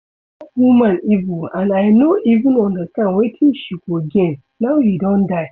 Dat woman evil and I no even understand wetin she go gain now he don die